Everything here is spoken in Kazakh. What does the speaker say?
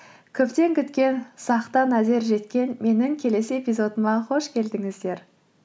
көптен күткен сақтан әзер жеткен менің келесі эпизодыма қош келдіңіздер